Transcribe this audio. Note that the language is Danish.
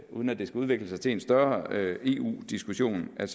uden at det skal udvikle sig til en større eu diskussion at